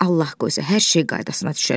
Allah qoysa, hər şey qaydasına düşər.